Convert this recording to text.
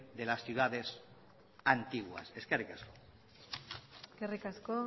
de las ciudades antiguas eskerrik asko eskerrik asko